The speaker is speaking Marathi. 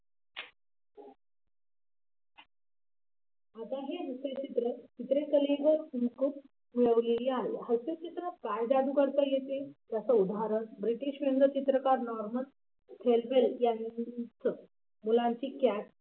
आता हे हास्य चित्रात काय जादू करता येते त्याचं उदाहरण british व्यंगचित्रकार